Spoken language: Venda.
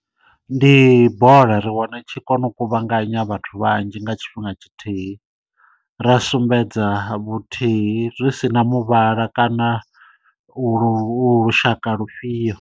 Ndi bola ri wana i tshi kona u kuvhanganya vhathu vhanzhi nga tshifhinga tshithihi ra sumbedza vhuthihi zwi sina muvhala kana lu lushaka lufhio.